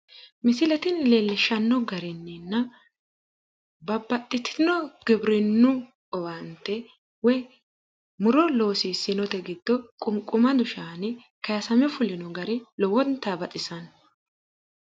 Misile tini leellishshanno garinninna babbaxxitino giwirinnu owaante woyi muro loosiissinote giddo qunqumadu shaani kayisame fulino gari lowonta baxisanno.